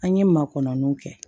An ye ma kɔnɔniw kɛ